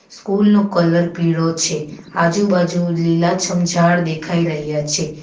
School નો colour પીળો છે આજુબાજુ લીલાછમ ઝાડ દેખાઈ રહ્યા છે.